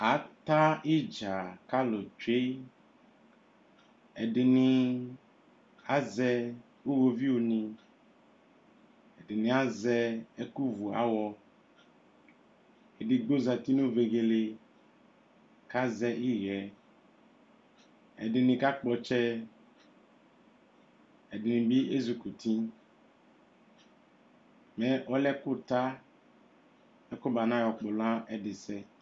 ata idza k'alò tsue ɛdini azɛ iwoviu ni ɛdini azɛ ɛkò vu awɔ edigbo zati no vegele k'azɛ iɣɛ ɛdini ka kpɔ ɔtsɛ ɛdini bi ezikuti mɛ ɔlɛ ɛkò ta mɛ kò ba na yɔ kpɔlɔ n'ɛdi sɛ.